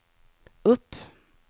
upp